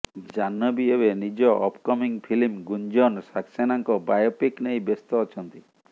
ଜାହ୍ନବୀ ଏବେ ନିଜ upcoming film Gunjan ସକ୍ସେନାଙ୍କ ବାୟୋପିକ୍ ନେଇ ବ୍ୟସ୍ତ ଅଛନ୍ତି